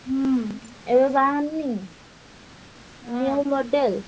ହୁଁ ଏବେ ବାହାରିନି।